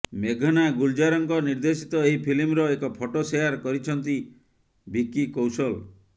ମେଘନା ଗୁଲଜାରଙ୍କ ନିର୍ଦ୍ଦେଶିତ ଏହି ଫିଲ୍ମର ଏକ ଫଟୋ ସେୟାର କରିଛନ୍ତି ଭିକି କୌଶଲ୍